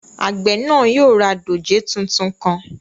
Àgbẹ̀ náà yóò ra dòjé tuntun kan